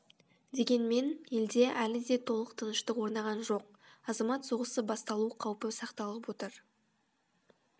дегенмен елде әлі де толық тыныштық орнаған жоқ азамат соғысы басталу қаупі сақталып отыр